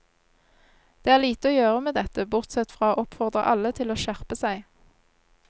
Det er lite å gjøre med dette, bortsett fra å oppfordre alle til å skjerpe seg.